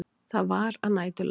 Það var að næturlagi.